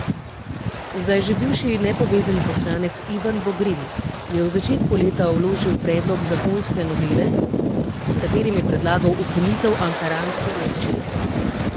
Zdaj že bivši nepovezani poslanec Ivan Vogrin je v začetku leta vložil predlog zakonske novele, s katerim je predlagal ukinitev ankaranske občine.